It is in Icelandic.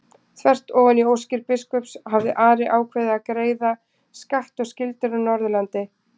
Þvert ofan í óskir biskups hafði Ari ákveðið að greiða skatt og skyldur af Norðurlandi.